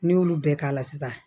N'i y'olu bɛɛ k'a la sisan